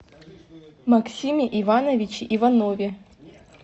максиме ивановиче иванове